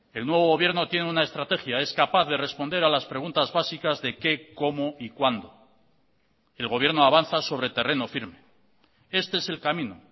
el nuevo gobierno tiene una estrategia es capaz de responder a las preguntas básicas de qué cómo y cuándo el gobierno avanza sobre terreno firme este es el camino